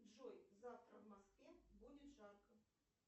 джой завтра в москве будет жарко